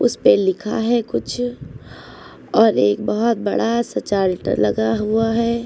उसपे लिखा है कुछ और एक बहुत बड़ा सा चार्टर लगा हुआ है।